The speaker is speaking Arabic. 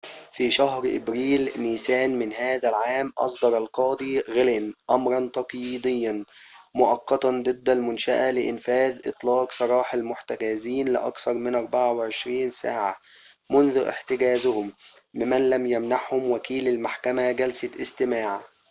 في شهر أبريل/نيسان من هذا العام، أصدر القاضي غلين أمراً تقييدياً مؤقتاً ضد المنشأة لإنفاذ إطلاق سراح المحتجزين لأكثر من 24 ساعة منذ احتجازهم ممن لم يمنحهم وكيل المحكمة جلسة استماع